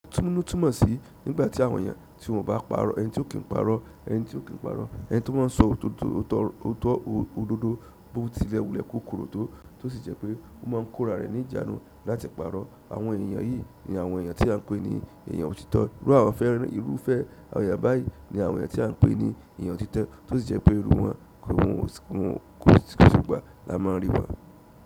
Túmunu túmọ̀ sí nígbà tí àwọn èèyàn tí wọ́n bá ń pàrọ̀, ẹni tí ò kí ń pàrọ̀, ẹni tí ò kí ń pàrọ̀, ẹni tí ó máa ń sọ òótọ́ òdodo bó ti le wulẹ̀ kó korò tó, tó sì jẹ́ pé ó máa ń kóra rẹ̀ ní ìjánu láti pàrọ̀. Àwọn ènìyàn yìí ni àwọn èèyàn tí à ń pè ní èèyàn òtítọ́. Iru àwọn fẹ́ràn, irúfẹ́ àwọn èyàn báyìí ni àwọn èyàn tí à ń pè ní èyàn òtítọ́, tó sì jẹ́ pé irú wọn kò sì gbà là má rí wà.